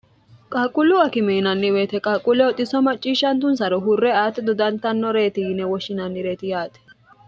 qaqquullu akimeinanniweyete qaaqquulle oxiso macciishshantunsaro hurre ati dudantannoreeti yine woshshinannireeti yaate